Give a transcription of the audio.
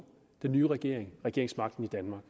den nye regering regeringsmagten i danmark